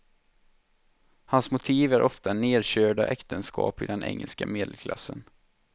Hans motiv är ofta nerkörda äktenskap i den engelska medelklassen.